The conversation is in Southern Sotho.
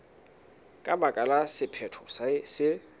ka baka la sephetho se